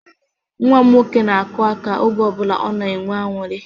Nwa m nwoke na-akụ aka oge ọbụla ọ na-enwe aṅụrị